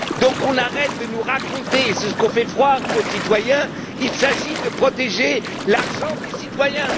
Alors qu'on arrête de nous raconter c'est ce qu'on fait croire aux citoyens qu'il s'agit de protéger l'argent des citoyens.